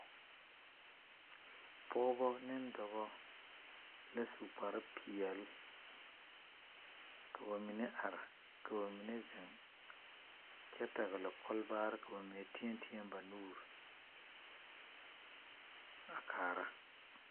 Pɔgbɔ ane dɔbɔ la su kparepeɛle ka ba mine are kyɛ ka ba mine ziŋ kyɛ pɛgle kɔlbaare. Ba mine teɛ teɛ la ba nuure kaara.